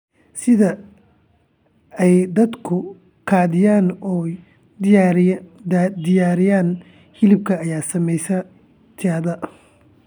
Sida ay dadku u kaydiyaan oo u diyaariyaan hilibka ayaa saameeya tayada.